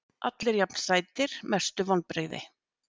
Allir jafn sætir Mestu vonbrigði?